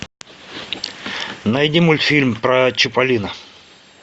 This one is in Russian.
найди мультфильм про чиполлино